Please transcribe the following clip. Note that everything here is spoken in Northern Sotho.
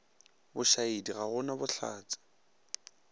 bošaedi ga go na bohlatse